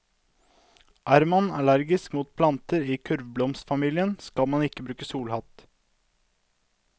Er man allergisk mot planter i kurvblomstfamilien, skal man ikke bruke solhatt.